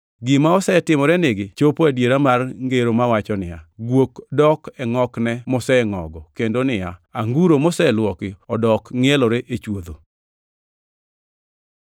Gima osetimorenigi chopo adiera mar ngero mawacho niya, “Guok dok e ngʼokne mosengʼogo” + 2:22 \+xt Nge 26:11\+xt* kendo niya, “Anguro moseluoki odok ngʼielore e chwodho.”